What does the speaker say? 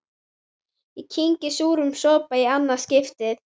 Ég kyngi súrum sopa í annað skipti.